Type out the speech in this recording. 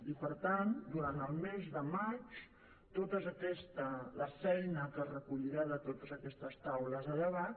i per tant durant el mes de maig la feina que es recollirà de totes aquestes taules de debat